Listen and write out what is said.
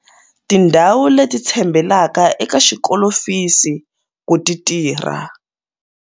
Tindhawu leti tshembelaka eka xikolofisi ku ti tirha.